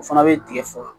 O fana bɛ tigɛ faga